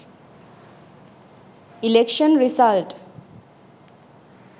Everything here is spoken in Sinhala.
election result